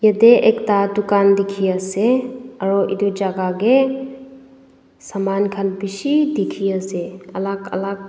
yadae ekta tokan diki asae aro etu jaka dae saman kan bishi diki asae alak alak.